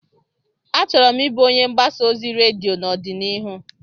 Achọrọ m ịbụ onye mgbasa ozi redio n'ọdịnihu.